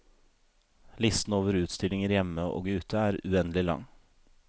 Listen over utstillinger hjemme og ute er uendelig lang.